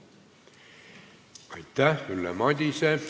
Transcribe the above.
Aitäh, Ülle Madise!